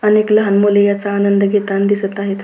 अनेक लहान मुले याचा आनंद घेताना दिसत आहे.